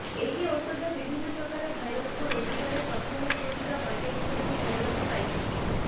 ଏହି ଔଷଧ ବିଭିନ୍ନ ପ୍ରକାର ଭାଇରସକୁ ରୋକିବାରେ ସକ୍ଷମ ହେଉଥିବା ବୈଜ୍ଞାନିକମାନେ ଜାଣିବାକୁ ପାଇଛନ୍ତି